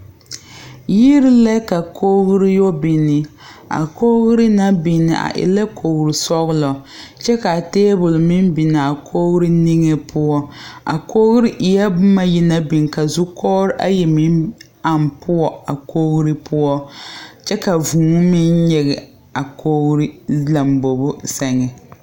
Yiri la ka koɡri yɔ biŋ a koɡri na biŋ e la koɡri sɔɡelɔ kyɛ ka teebol meŋ biŋ a koɡri niŋe poɔ a koɡri eeɛ boma ayi naŋ biŋ ka zukɔɡre ayi meŋ aŋ poɔ a koɡri poɔ kyɛ ka vūū meŋ nyeɡe a koɡri lambobo sɛŋ.